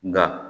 Nka